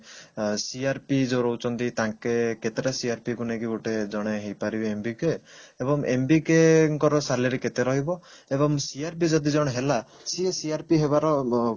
ଆ CRP ଯଉ ରହୁଛନ୍ତି ତାଙ୍କେ କେତେଟା CRP କୁ ନେଇକି ଗୋଟେ ଜଣେ ହେଇପାରିବେ MBK ଏବଂ MBK ଙ୍କର salary କେତେ ରହିବ ଏବଂ CRP ଯଦି ଜଣେ ହେଲା ସିଏ CRP ହେବାର